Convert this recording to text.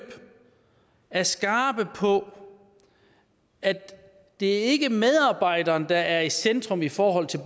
er skarpe på at det ikke er medarbejderen der er i centrum i forhold til